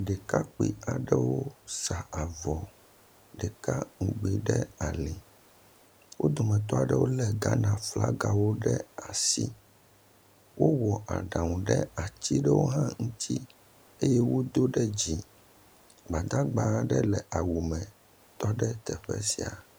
ɖekakpi aɖewo sa avɔ ɖeka ŋgbi ɖe ali wó dometɔɖewo le Ghana. flaga ɖe asi wowɔ aɖaŋu ɖe atiɖe hã ŋuti eye wodó ɖe dzi gbadagba ɖe le awu me tɔɖe teƒe sia